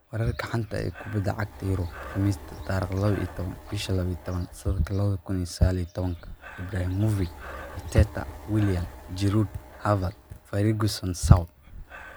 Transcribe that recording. Wararka xanta ah ee kubada cagta Yurub Khamiista 12.12.2019: Ibrahimovic, Arteta, Willian, Giroud, Pogba, Havertz, Ferguson, Saul